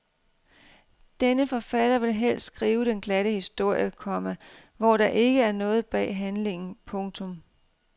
Denne forfatter vil helst skrive den glatte historie, komma hvor der ikke er noget bag handlingen. punktum